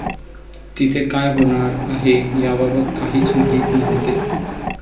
तिथे क़ाय होणार आहे याबाबत काहीच माहीत नव्हते.